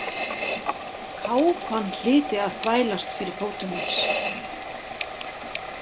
Kápan hlyti að þvælast fyrir fótum hans.